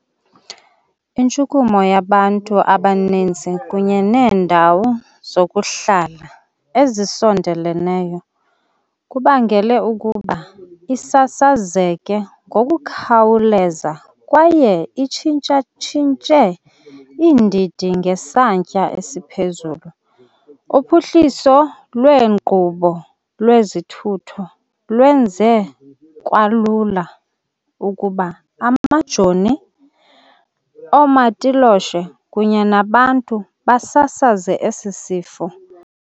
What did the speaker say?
Intshukumo yabantu abaninzi kunye neendawo zokuhlala ezisondeleneyo kubangele ukuba isasazeke ngokukhawuleza kwaye itshintshatshintshe iindidi ngesantya esiphezulu. Uphuhliso lweenkqubo lwezithutho lwenze kwalula ukuba amajoni, oomatiloshe kunye nabantu basasaze esi sifo.